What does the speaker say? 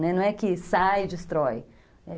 Né, não é que saí e destrói.